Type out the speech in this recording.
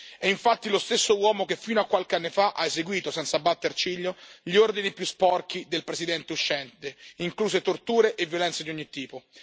È infatti lo stesso uomo che fino a qualche anno fa ha eseguito, senza batter ciglio, gli ordini più sporchi del presidente uscente, incluse torture e violenze di ogni tipo.